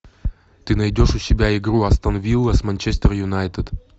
ты найдешь у себя игру астон вилла с манчестер юнайтед